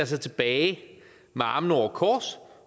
sig tilbage med armene over kors